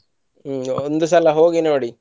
ಹ್ಮ್ ಒಂದು ಸಲಾ ಹೋಗಿ ನೋಡಿ.